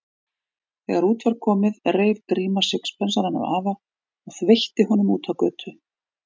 Þegar út var komið reif Gríma sixpensarann af afa og þveitti honum út á götu.